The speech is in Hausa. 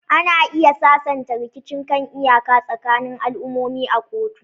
Ana iya sasanta rikicin kan iyaka tsakanin al'ummomi a kotu.